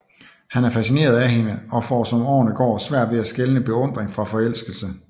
Han er fascineret af hende og får som årene går svært ved at skelne beundring fra forelskelse